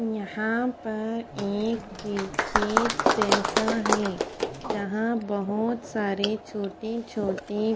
यहाँ पर एक खे-खेत जैसा है जहा बहोत सारे छोटे छोटे --